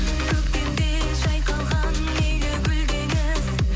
көктемде жайқалған мейлі гүл деңіз